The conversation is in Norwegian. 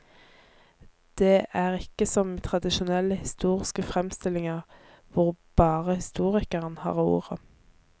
Det er ikke som i tradisjonelle historiske fremstillinger, hvor bare historikeren har ordet.